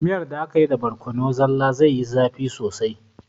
Miyar da akayi da borkono zalla zaiyi zafi sosai